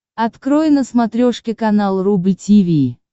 открой на смотрешке канал рубль ти ви